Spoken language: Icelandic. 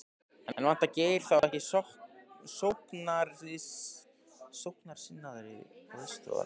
En vantar Geir þá ekki sóknarsinnaðri aðstoðarmann?